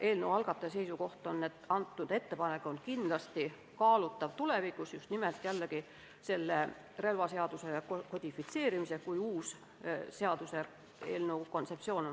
Eelnõu algataja seisukoht on, et kõnealune ettepanek on kindlasti kaalutav tulevikus, just nimelt relvaseaduse kodifitseerimisega seoses, kui töötatakse välja uus seaduseelnõu kontseptsioon.